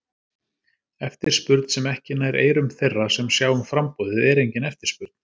Eftirspurn sem ekki nær eyrum þeirra sem sjá um framboðið, er engin eftirspurn.